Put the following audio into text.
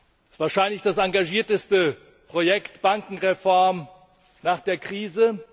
Es ist wahrscheinlich das engagierteste Projekt Bankenreform nach der Krise.